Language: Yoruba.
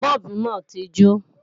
Bọ́ọ̀bù náà ti jó